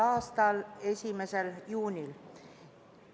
a 1. juunil.